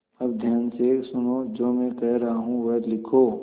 अब ध्यान से सुनो जो मैं कह रहा हूँ वह लिखो